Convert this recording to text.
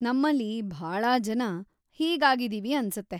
ನಮ್ಮಲ್ಲಿ ಭಾಳಾ ಜನ ಹೀಗಾಗಿದೀವಿ ಅನ್ಸತ್ತೆ.‌